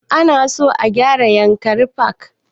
Ana so a gyara yankari park